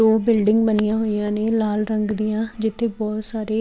ਦੋ ਬਿਲਡਿੰਗ ਬਣੀਆਂ ਹੋਈਂਆਂ ਨੇ ਲਾਲ ਰੰਗ ਦੀਆਂ ਜਿੱਥੇ ਬਹੁਤ ਸਾਰੇ --